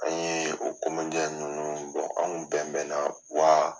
An ye o ninnu an kun bɛn bɛn na wa